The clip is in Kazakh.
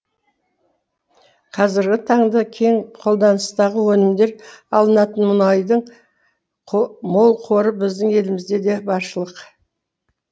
қазіргі таңды кең қолданыстағы өнімдер алынатын мұнайдың мол қоры біздің елімізде де баршылық